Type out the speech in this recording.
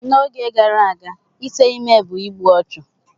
N'oge gara aga ite ime bụ igbu ọchụ.